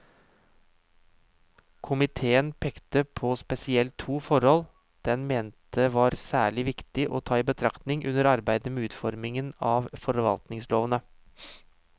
Komiteen pekte på spesielt to forhold den mente var særlig viktig å ta i betraktning under arbeidet med utformingen av forvaltningslovene.